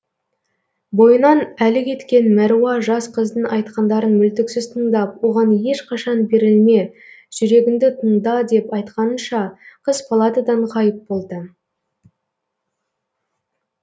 бойынан әлі кеткен мәруа жас қыздың айтқандарын мүлтіксіз тыңдап оған ешқашан берілме жүрегіңді тыңда деп айтқанынша қыз палатадан ғайып болды